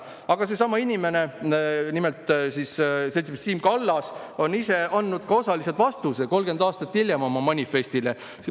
Aga seesama inimene, nimelt seltsimees Siim Kallas, on 30 aastat hiljem oma manifestile ise andnud osaliselt vastuse.